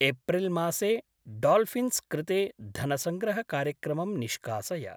April मासे dolphins कृते धनसङ्ग्रहकार्यक्रमम् निष्कासय।